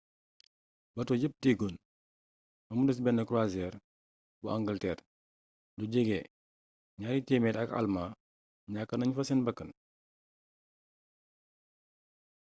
bato yépp diigoon bamu des benn croisiñre bu angalteer lu jege 200 ak almaa ñakk nañ fa seen bakkan